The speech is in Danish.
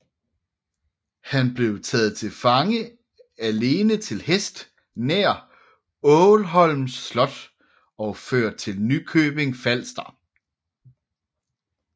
Han blev taget til fange alene til hest nær Ålholm slot og ført til Nykøbing F